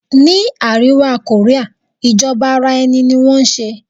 Ni àríwá Korea ìjọba ara ẹni ní wọn ń ṣe.